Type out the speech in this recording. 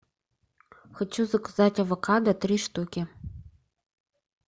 хочу заказать авокадо три штуки